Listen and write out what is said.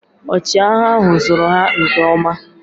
Ọchịagha ahụ zụrụ ha nke ọma